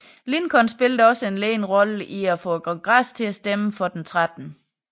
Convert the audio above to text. Lincoln spillede også en ledende rolle i at få Kongressen til at stemme for den 13